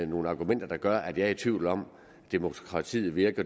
nogen argumenter der gør at jeg er i tvivl om at demokratiet virker